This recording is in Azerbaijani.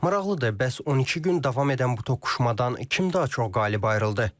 Maraqlıdır, bəs 12 gün davam edən bu toqquşmadan kim daha çox qalib ayrıldı?